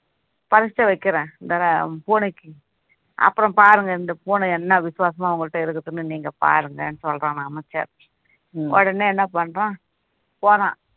பரிட்சை வைக்கிறேன் இந்த பூனைக்கு அப்பறோம் பாருங்க இந்த பூனை என்ன விசுவாசமா உங்ககிட்ட இருக்குதுன்னு நீங்க பாருங்கன்னு சொல்றானாம் அமைச்சர் உடனே என்ன பண்றான் போறான்